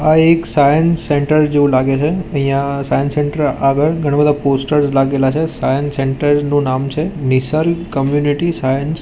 આ એક science centre જેવુ લાગે છે અહિયા સાયન્સ સેન્ટર આગળ ઘણા-બધા પોસ્ટર્સ લાગેલા છે સાયન્સ સેન્ટર નું નામ છે નિસલ કોમ્યુનિટી સાયન્સ --